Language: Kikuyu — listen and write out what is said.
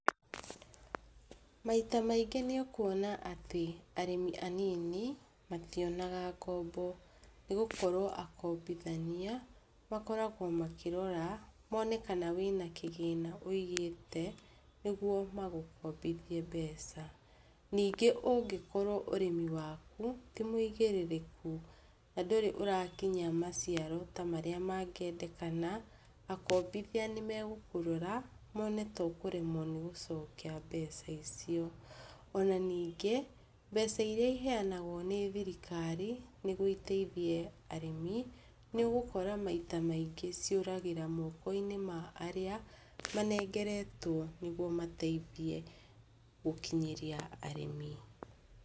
Maita maingĩ nĩũkuona atĩ arĩmi anini mationanga ngombo nĩgũkorwo akombithania makoragwa makĩrora mone kana wĩna kĩgĩna ũigĩte nĩguo magũkombithie mbeca, ningĩ ũngĩkorwo mũrĩmi waku tĩ mũigĩrĩrĩku na ndũrĩ ũrakinyia maciaro marĩa mangĩendekana, akobithia nĩmegũkũrora mone tũkũremwa nĩgũcokia mbeca icio, ona ningĩ mbeca irĩa iheanagwa nĩ thirikari nĩguo iteithie arĩmi, nĩgũkora maita maingĩ cioragĩra moko-inĩ ma arĩa manengeretwo nĩguo mateithie gũkinyĩria arĩmi.